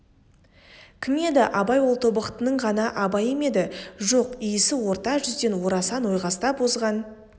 кім еді абай ол тобықтының ғана абайы ма еді жоқ исі орта жүзден орасан ойқастап озған